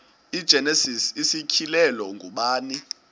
igenesis isityhilelo ngubani